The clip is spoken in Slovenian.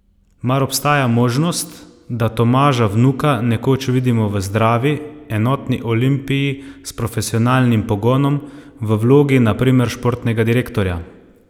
Mar obstaja možnost, da Tomaža Vnuka nekoč vidimo v zdravi, enotni Olimpiji s profesionalnim pogonom, v vlogi, na primer, športnega direktorja?